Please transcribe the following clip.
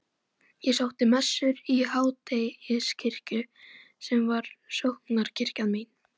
Hann sagðist ekki hafa ekki átt nein viðskipti með